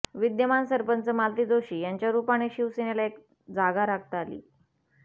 विद्यमान सरपंच मालती जोशी यांच्या रूपाने शिवसेनेला एक जागा राखता आली